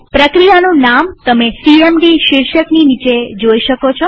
પ્રક્રિયાનું નામ તમે સીએમડી શીર્ષકની નીચે જોઈ શકો છો